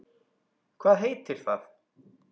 Hvað heitir það?